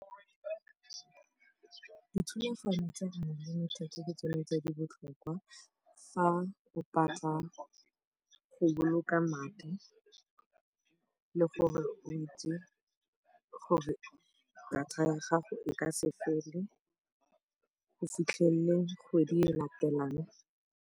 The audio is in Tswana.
Dithulaganyo tsa unlimited ke tsone tse di botlhokwa fa o ka tla go boloka madi le gore o itse gore data ya gago e ka se fele go fitlhelela kgwedi e e latelang.